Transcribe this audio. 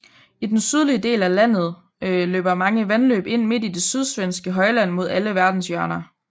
I den sydlige del af landet løber mange vandløb ind midt i det sydsvenske højland mod alle verdenshjørner